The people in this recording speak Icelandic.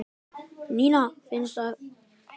Nína fína sat hjá Gerði.